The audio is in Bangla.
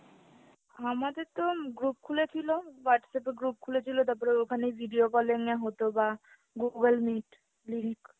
আমাদেরতো group খুলেছিলো, Whatsapp এ group খুলেছিলো তাপরে ওখানেই video call এ নেওয়া হতো বা google meet link